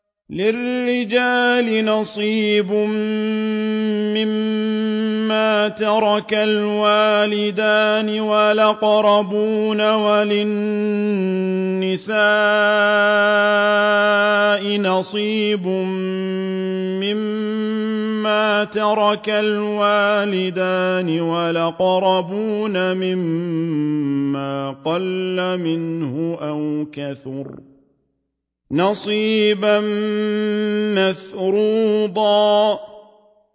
لِّلرِّجَالِ نَصِيبٌ مِّمَّا تَرَكَ الْوَالِدَانِ وَالْأَقْرَبُونَ وَلِلنِّسَاءِ نَصِيبٌ مِّمَّا تَرَكَ الْوَالِدَانِ وَالْأَقْرَبُونَ مِمَّا قَلَّ مِنْهُ أَوْ كَثُرَ ۚ نَصِيبًا مَّفْرُوضًا